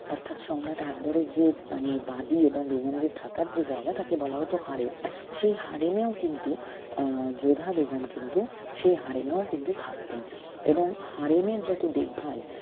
অর্থাৎ সম্রাট আকবরের যে মানে বাদি এবং বেগমদের থাকার যে জায়গা তাকে বলা হত হারেম সেই হারেমেও কিন্তু আহ যোধা বেগম কিন্তু সেই হারেমেও কিন্তু থাকতেন এবং হারেমের যত দেখভাল